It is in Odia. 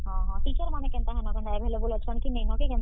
ହଁ ହଁ, teacher ମାନେ କେନ୍ତା ହେନ କେନ୍ତା available ଅଛନ୍ କି କେନ୍ତା?